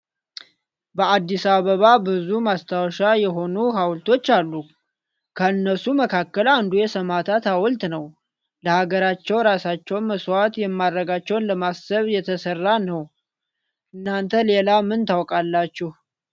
በአዲስ አበባ ብዙ ማስታወሻ የሆኑ ሃውልቶች አሉ። ከነሱ መካከል አንዱ የሰማእታት ሃውልት ነው። ለሃገራቸው ራሳቸውን መስዋእት ማረጋቸውን ለማሰብ የተሰራ ነው። እናንተ ሌላ ምን ታቃላችሁ?